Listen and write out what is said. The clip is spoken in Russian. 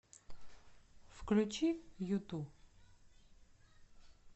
включи юту